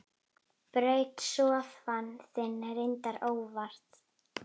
Braut sófann þinn, reyndar óvart.